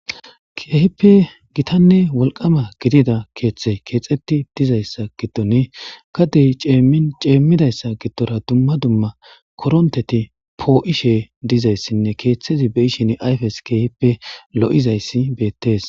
kehippe gitanne wolqama gidida keeththe keexeti dizayssa giddon kadey ceemmidayssa giddora dumma dumma koronteti poo7ishe dizayssinne keeththezi be ishin ayfes keehippe lo7izayssi beettees